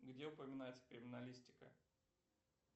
где упоминается криминалистика